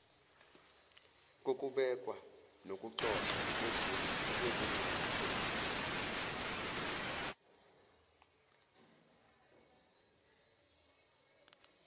kokubekwa nokuxoxwa kwezixazululo